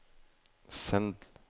send